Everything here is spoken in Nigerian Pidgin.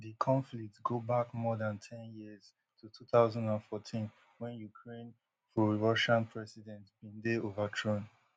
di conflict go back more dan ten years to two thousand and fourteen wen ukraine prorussian president bin dey overthrown